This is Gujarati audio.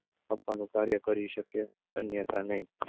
આપવાનું કાર્ય કરી શકે, અન્યથા નહિ.